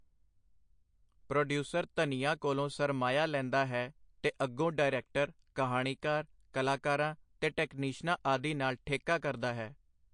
Producer ਧਨੀਆਂ ਕੋਲੋਂ ਸਰਮਾਇਆ ਲੈਂਦਾ ਹੈ, ਤੇ ਅੱਗੋਂ ਡਾਇਰੈਕਟਰ, ਕਹਾਣੀਕਾਰ, ਕਲਾਕਾਰਾਂ ਤੇ ਟੈਕਨੀਸ਼ਨਾਂ ਆਦਿ ਨਾਲ ਠੇਕਾ ਕਰਦਾ ਹੈ.